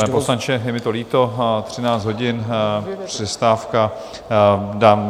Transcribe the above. Pane poslanče, je mi to líto, 13 hodin, přestávka.